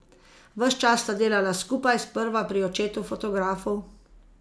Ves čas sta delala skupaj, sprva pri očetu fotografu.